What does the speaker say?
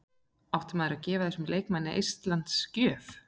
Átti maður að gefa þessum leikmanni eistlands gjöf?